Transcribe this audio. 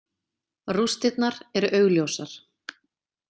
Rústirnar eru augljósar.